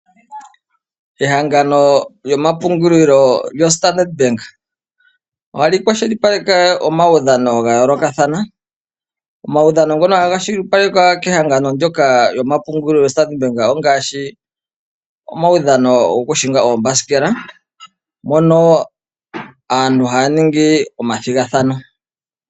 Ehangano lyomapungulilo lyoStandard bank ohali kwashilipaleke omaudhano ga yoolokathana. Omaudhano ngaashi gokuhinga oombasikela mono aantu haya ningi omathigathano.